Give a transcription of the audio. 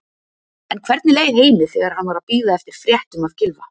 En hvernig leið Heimi þegar hann var að bíða eftir fréttum af Gylfa?